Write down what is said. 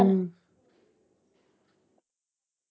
ਹਮ